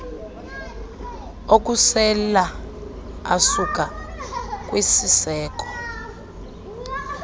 okusela asuka kwisiseko